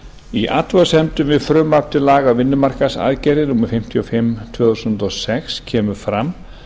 í athugasemdum við frumvarp til laga um vinnumarkaðsaðgerðir númer fimmtíu og fimm tvö þúsund og sex kemur fram